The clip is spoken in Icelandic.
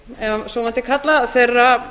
ef svo mætti kalla þeirra